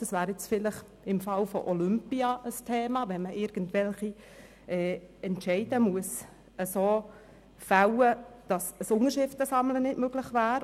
Das wäre vielleicht im Fall der Olympischen Spiele ein Thema, wenn man irgendwelche Entscheide so fällen muss, dass eine Unterschriftensammlung nicht möglich wäre.